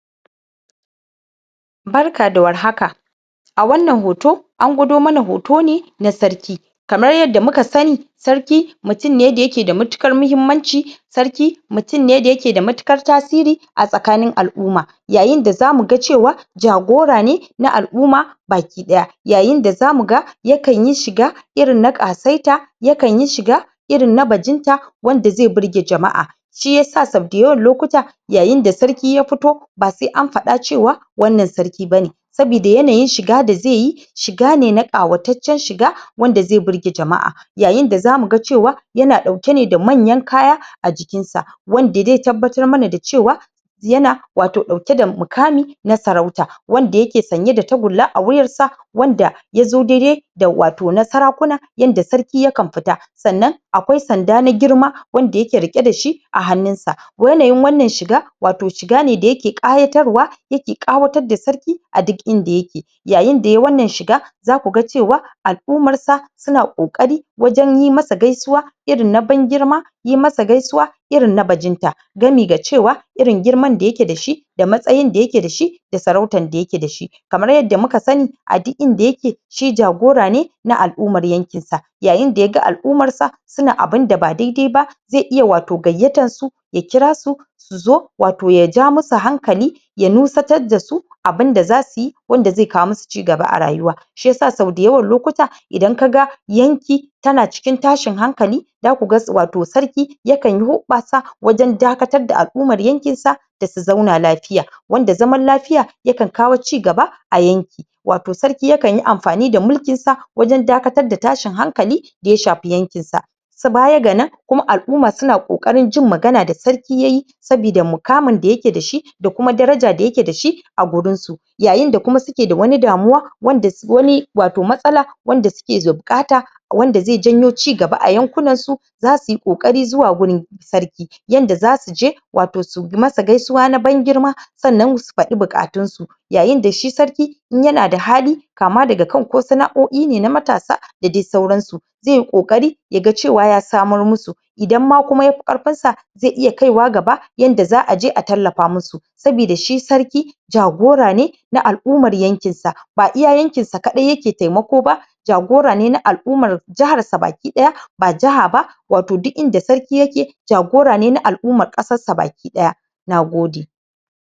Barka da warhaka a wannan hoto an gwado mana hoto ne na sarki kamar yadda muka sani sarki, mutum ne dayake da mutuƙar muhimmanci sarki ,mutum ne dayake da mutuƙar tasiri a tsakanin al'uma yayinda zamuga cewa jagora ne na al'uma baki ɗaya yayinda zamuga yakan yi shiga irin na ƙasaita yakan yi shiga irin na bajinta wanda zai burge jama'a shiyasa sau dayawan lokuta yayinda sarki ya fito ba sai an faɗa cewa wannan sarki bane sabida yanayin shiga da zaiyi shiga ne na ƙawataccen shiga wanda ze burge jama'a yayinda zamuga cewa yana ɗauke ne da manyan kaya a jikinsa wanda de tabbatar mana da cewa yana wato ɗauke da mukami na sarauta wanda yake sanye da tagulla a wuyarsa wanda yazo dai-dai da wato na sarakuna yanda sarki yakan fita sannan akwai sanda na girma wanda yake riƙe dashi a hannunsa yanayin wannan shiga wato shigane da yake ƙayatarwa yake ƙawatar da sarki a duk inda yake yayinda yai wannan shiga zakuga cewa al'umarsa suna ƙoƙari wajen yi masa gaisuwa irin na ban girma yi masa gaisuwa irin na bajinta gami ga cewa irin girman da yake dashi da matsayin da yake dashi da sarautan da yake dashi kamar yadda muka sani a duk inda yake shi jagora ne na al'umar yankin sa yayinda yaga al'umarsa suna abinda ba dai-dai ba zai iya wato gayyatar su ya kira su suzo, wato ya ja musu hankali ya nusatar dasu abinda zasuyi wanda ze kawo musu cigaba a rayuwa shiyasa sau dayawan lokuta idan kaga yanki tana cikin tashin hankali zakuga wato sarki yakanyi huɓɓasa wajen dakatar da al'umar yankin sa dasu zauna lafiya wanda zaman lafiya yakan kawo cigaba a yanki wato sarki yakan yi amfani da mulkinsa wajen dakatar da tashin hankali da ya shafi yankin sa s bayaga nan kuma al'uma suna ƙoƙarin jin magana da sarki yayi sabida mukamin da yake dashi da kuma daraja da yake dashi a gurin su yayinda kuma suke da wani damuwa wanda? wani wato matsala, wanda suke da buƙata wanda ze janyo cigaba a yankunan su zasuyi ƙoƙari zuwa gurin sarki yanda zasuje wato su masa gaisuwa na ban girma sannan su faɗi buƙatun su yayinda shi sarki in yana da hali kama daga kan ko sana'o'i ne na matasa da dai sauransu ze ƙoƙari yaga cewa ya samar musu idan ma kuma yafi ƙarfin sa ze iya kaiwa gaba yanda za aje a tallafa musu sabida shi sarki jagora ne na al'umar yankinsa ba iya yankinsa kaɗai yake taimako ba jagora ne na al'umar jiharsa baki ɗaya. Ba jiha ba wato duk inda sarki yake jagora ne na al'umar ƙasar baki ɗaya nagode.